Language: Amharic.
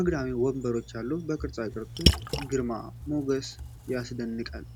አግዳሚ ወንበሮች አሉ። የቅርፃቅርፁ ግርማ ሞገስ ያስደንቃል።